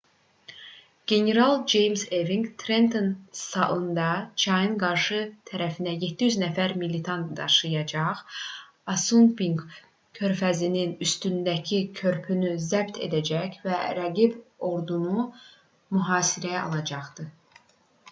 general ceyms eving trenton salında çayın qarşı tərəfinə 700 nəfər militan daşıyacaq assunpink körfəzinin üstündəki körpünü zəbt edəcək və rəqib ordunu mühasirəyə alacaqdı